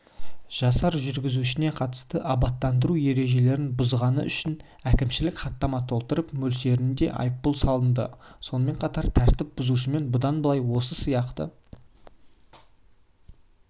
жасар жүргізушісіне қатысты абаттандыру ережелерін бұзғаны үшін әкімшілік хаттама толтырылып мөлшерінде айыппұл салынды сонымен қатар тәртіп бұзушымен бұдан былай осы сияқты